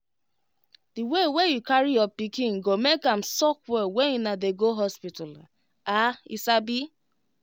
the way wey you carry your pikin go make am suck well when una dey go hospital ah you sabi